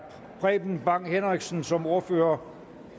preben bang henriksen som ordfører